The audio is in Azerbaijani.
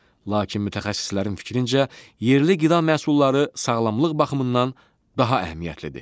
Lakin mütəxəssislərin fikrincə yerli qida məhsulları sağlamlıq baxımından daha əhəmiyyətlidir.